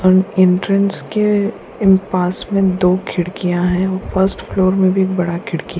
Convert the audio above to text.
और एंट्रेन्स के इन पास में दो खिड़कियां है ओ फर्स्ट फ्लोर में भी एक बडा खिड़की --